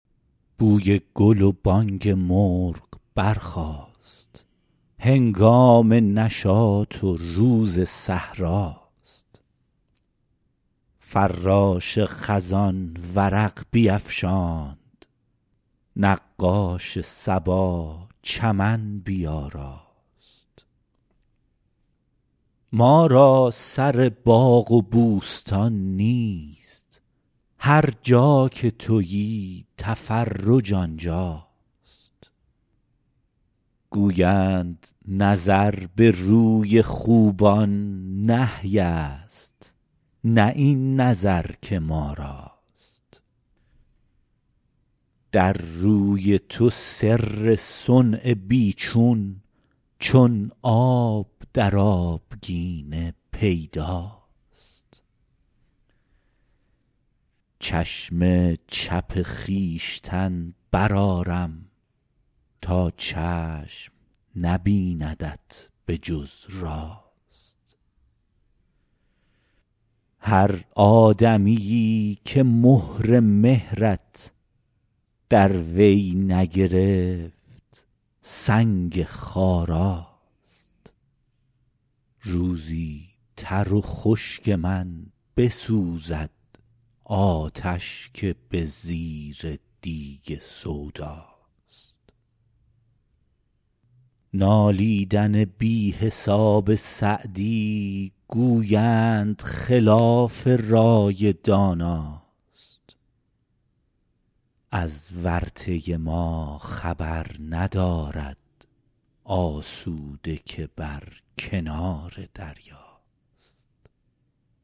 بوی گل و بانگ مرغ برخاست هنگام نشاط و روز صحرا ست فراش خزان ورق بیفشاند نقاش صبا چمن بیاراست ما را سر باغ و بوستان نیست هر جا که تویی تفرج آنجا ست گویند نظر به روی خوبان نهی ست نه این نظر که ما راست در روی تو سر صنع بی چون چون آب در آبگینه پیدا ست چشم چپ خویشتن برآرم تا چشم نبیندت به جز راست هر آدمیی که مهر مهرت در وی نگرفت سنگ خارا ست روزی تر و خشک من بسوزد آتش که به زیر دیگ سودا ست نالیدن بی حساب سعدی گویند خلاف رای دانا ست از ورطه ما خبر ندارد آسوده که بر کنار دریا ست